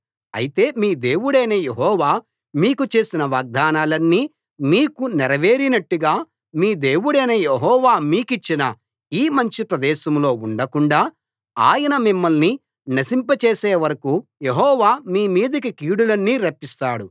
అయితే మీ దేవుడైన యెహోవా మీకు చేసిన వాగ్దానాలన్నీ మీకు నెరవేరినట్టుగా మీ దేవుడైన యెహోవా మీ కిచ్చిన ఈ మంచి ప్రదేశంలో ఉండకుండా ఆయన మిమ్మల్ని నశింపచేసే వరకూ యెహోవా మీ మీదికి కీడులన్నీ రప్పిస్తాడు